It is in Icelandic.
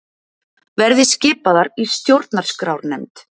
Verði skipaðir í stjórnarskrárnefnd